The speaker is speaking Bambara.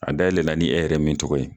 A dayɛlɛla ni e yɛrɛ min tɔgɔ ye